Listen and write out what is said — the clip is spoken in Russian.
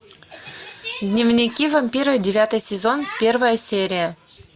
дневники вампира девятый сезон первая серия